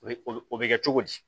O ye o be kɛ cogo di